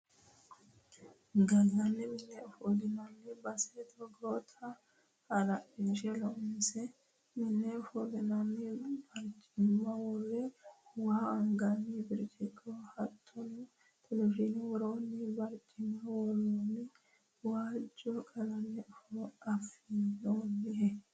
Gallani mine ofollinanni base togotta halashine loonse mine ofollinanni barcima wore wa anganni birciqo hattono televizhine woranni barcima worooni waajo qalame afi'noha.